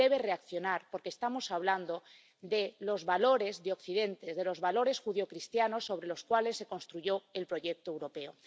Debe reaccionar, porque estamos hablando de los valores de Occidente, de los valores judeocristianos sobre los cuales se construyó el proyecto europeo.